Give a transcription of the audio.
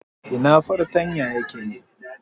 Ina fartanya yake ne?